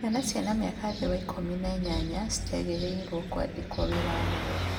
Ciana ciĩna mĩaka thĩ wa ikũmi na inyanya citiagĩrĩirwo kũandĩkwo wĩra wa mũgũnda